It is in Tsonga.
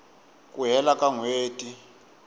ku hela ka n hweti